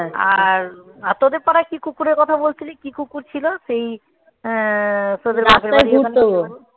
আর তোদের পাড়ায় কি কুকুরের কথা বলছিলি? কি কুকুর ছিল? সেই আহ তোদের রাস্তায়